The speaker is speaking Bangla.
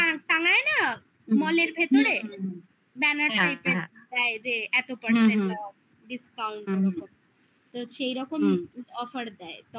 গুলো টাঙায় না মলের ভেতরে banner টা এটা হ্যাঁ এই যে এত percent discount তো সেই রকম হুম offer দেয়